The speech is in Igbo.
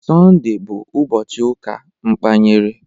Sọnde bụ ụbọchị ụka mkpanyere